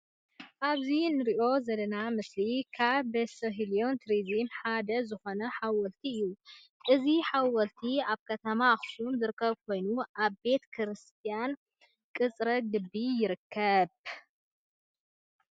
አብዚ እንርእዮ ዘለና ምስሊ ካብበሠህልን ቱሪዝምን ሓደ ዝኾነ ሓወልቲ እዪ ። እዚ ሓወልቲ አብ ከተማ ኣክሱም ዝርከብ ኮይኑ ኣብ ቤተ ክርስትያን ቅፅረ ግቢ ይርከብ ።